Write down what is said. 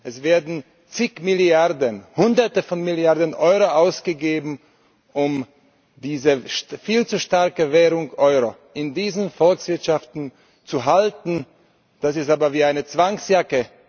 Es werden zig Milliarden, Hunderte von Milliarden Euro ausgegeben, um diese viel zu starke Währung Euro in diesen Volkswirtschaften zu halten. Das ist aber wie eine Zwangsjacke.